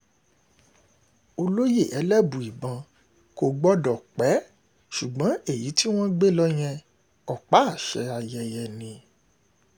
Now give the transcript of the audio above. olóye elébùíbọn kò gbọdọ̀ pẹ́ ṣùgbọ́n èyí tí wọ́n um gbé lọ yẹn ọ̀pá-àṣẹ ayẹyẹ um ni